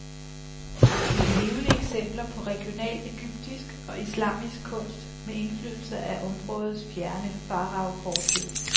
De er levende eksempler på regional ægyptisk og islamisk kunst med indflydelse af områdets fjerne faraofortid.